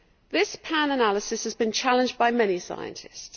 This pan-analysis has been challenged by many scientists.